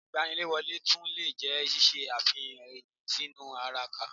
Ìgbaniwọlé tún lè jẹ́ ṣíṣe àfihàn ẹni sínú ara ka